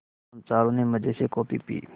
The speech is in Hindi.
हम चारों ने मज़े से कॉफ़ी पी